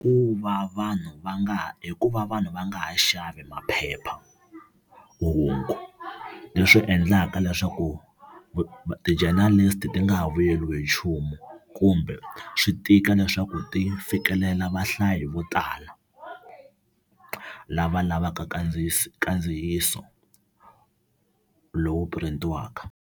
Ku va vanhu va nga ku va vanhu va nga ha xavi maphephamahungu leswi endlaka leswaku ti-journalist-i ti nga ha vuyeriwi hi nchumu kumbe swi tika leswaku ti fikelela vahlayi vo tala lava lavaka kandziyiso lowu print-iwaka.